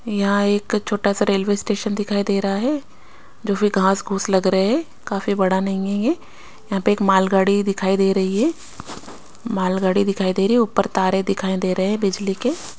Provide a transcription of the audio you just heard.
यहाँ एक छोटा सा रेलवे स्टेशन दिखाई दे रहा है जो फी घास-घूस लाग रहे हे काफी बड़ा नही है ये यहाँ पे एक मालगाड़ी दिखाई दे रही है मालगाड़ी दिखाई दे रही है उपर तारे दिखाई देरे बिजली के--